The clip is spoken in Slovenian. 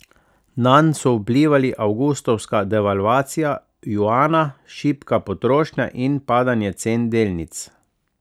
Nanj so vplivali avgustovska devalvacija juana, šibka potrošnja in padanje cen delnic.